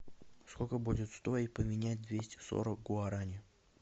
сколько будет стоить поменять двести сорок гуарани